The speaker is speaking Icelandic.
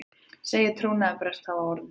Segir trúnaðarbrest hafa orðið